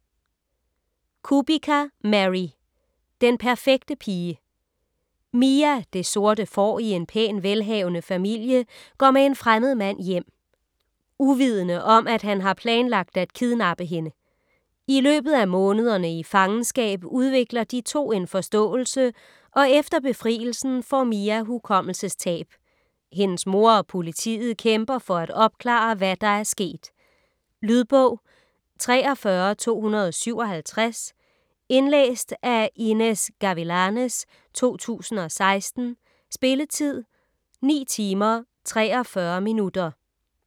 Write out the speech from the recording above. Kubica, Mary: Den perfekte pige Mia, det sorte får i en pæn, velhavende familie, går med en fremmed mand hjem. Uvidende om, at han har planlagt at kidnappe hende. I løbet af månederne i fangenskab udvikler de to en forståelse, og efter befrielsen får Mia hukommelsestab. Hendes mor og politiet kæmper for at opklare, hvad der er sket. Lydbog 43257 Indlæst af Inez Gavilanes, 2016. Spilletid: 9 timer, 43 minutter.